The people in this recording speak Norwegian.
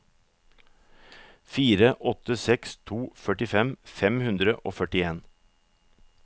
fire åtte seks to førtifem fem hundre og førtien